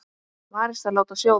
Varist að láta sjóða.